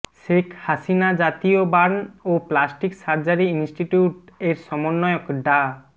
শেখ হাসিনা জাতীয় বার্ন ও plastic surgery institute এর সমন্বয়ক ডা